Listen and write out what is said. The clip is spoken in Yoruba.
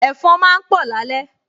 Ẹ̀fọn máa ń pọ̀ lálẹ́